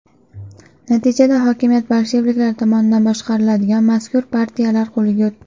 Natijada, hokimiyat bolsheviklar tomonidan boshqariladigan mazkur partiyalar qo‘liga o‘tdi.